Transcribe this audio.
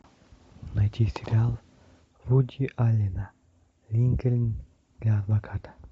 найти сериал вуди аллена линкольн для адвоката